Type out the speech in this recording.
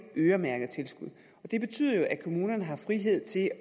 øremærket tilskud og det betyder jo at kommunerne har frihed til